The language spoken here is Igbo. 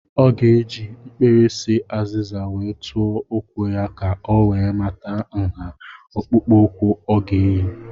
Ọ ga-eji mkpirisi azịza wee tụọ ụkwụ ya ka ọ wee mata nha akpụkpụụkwụ ọ ga eyi.